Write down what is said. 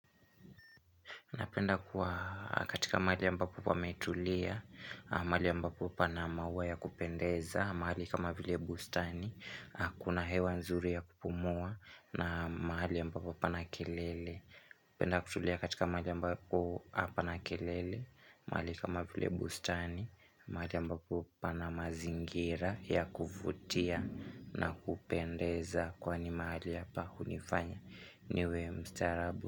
Napenda kuwa katika mahali ambapo pametulia, mahali ambapo pana maua ya kupendeza, mahali kama vile bustani, kuna hewa nzuri ya kupumua na mahali ambapo hapana kelele. Napenda kutulia katika mahali ambapo hapana kelele, mahali kama vile bustani, mahali ambapo pana mazingira ya kuvutia na kupendeza kwani mahali hapa hunifanya niwe mstaarabu.